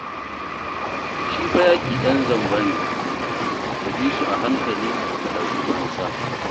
Shi fa yaƙi ɗan zamba ne. Ka bi su a hankali ka ɗauki fansa